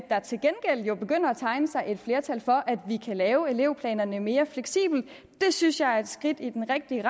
tegne sig et flertal for at vi kan lave elevplanerne mere fleksible det synes jeg er et skridt i den rigtige